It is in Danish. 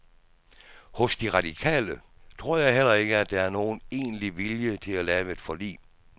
Hos de radikale tror jeg heller ikke, at der er nogen egentlig vilje til at lave et forlig.